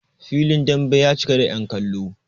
filin dambe ya cika da yankallo